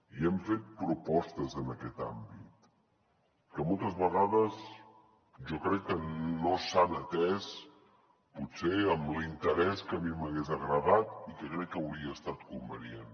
i hem fet propostes en aquest àmbit que moltes vegades jo crec que no s’han atès potser amb l’interès que a mi m’hagués agradat i que crec que hauria estat convenient